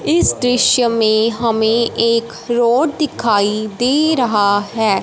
इस दृश्य में हमें एक रोड दिखाई दे रहा है।